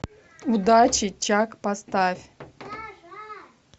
удачи чак поставь